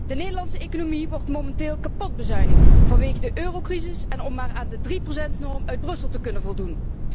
De Nederlandse economie wordt momenteel kapot bezuinigd vanwege de eurocrisis en om maar aan de drieprocentnorm uit Brussel te kunnen voldoen.